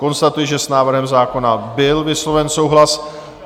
Konstatuji, že s návrhem zákona byl vysloven souhlas.